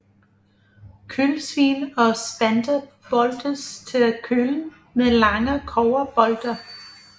Kølsvin og spanter boltes til kølen med lange kobberbolte